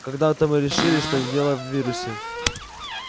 когда-то мы решили что дело в вирусе